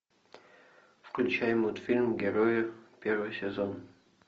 включай мультфильм герои первый сезон